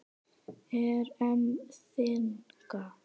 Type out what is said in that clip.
Er EM þynnka?